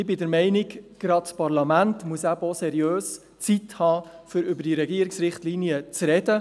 Ich bin der Meinung, gerade das Parlament müsse über die Zeit verfügen, um seriös über diese Regierungsrichtlinien zu sprechen.